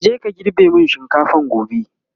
kaje ka girbe min shinkafan gobe!